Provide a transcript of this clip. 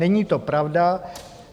Není to pravda.